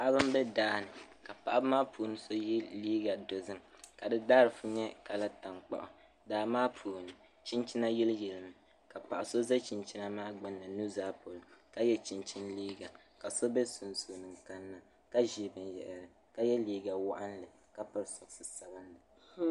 Paɣiba m-be daa ni ka paɣiba maa puuni so ye liiga dozim ka di daaziifu nyɛ kala taŋkpaɣu. Daa maa puuni chinchina yiliyilimi ka paɣa so za chinchina maa gbini nuzaa polo ka ye chinchini liiga ka so be sunsuuni kanna ka ʒi binyɛra ka ye liiga waɣinli ka piri sɔɣishin sabilinli.